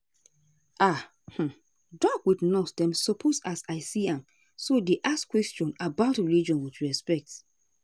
ah um doc with nurse dem suppose as i see am so dey ask questions about religion with respect.